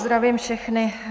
Zdravím všechny.